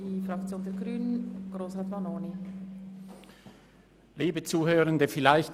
Zuerst hat Grossrat Vanoni für die Grünen das Wort.